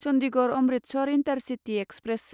Chandigarh Amritsar intercity express